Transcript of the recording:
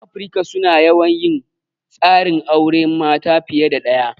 'Yan Afirika su na yawan yin tsarin auren mata fiye da ɗaya.